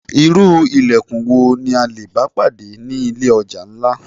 Irú ìlẹ̀kùn wo ni a lè bá pàdé ni ilé ọjà ńlá?